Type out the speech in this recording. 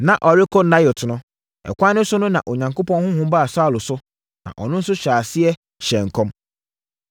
Na ɔrekɔ Naiot no, ɛkwan no so na Onyankopɔn honhom baa Saulo so, na ɔno nso hyɛɛ aseɛ hyɛɛ nkɔm.